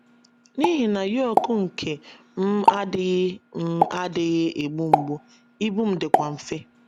N’ihi na yoke nke m adịghị m adịghị egbu mgbu, ibu m dịkwa mfe. ”